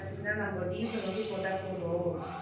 பாத்தீங்கன்னா நம்ம டீசல் ஒண்டி போட்டா போதும்